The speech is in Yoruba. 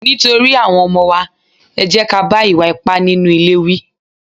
Nítorí àwọn ọmọ wa, ẹ jẹ́ ká bá ìwà ipá nínú ilé wí.